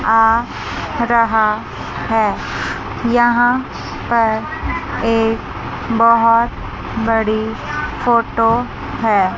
आ रहा है यहां पर एक बहोत बड़ी फोटो है।